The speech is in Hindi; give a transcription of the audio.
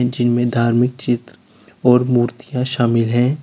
जिनमें धार्मिक चित्र और मूर्तियां शामिल है।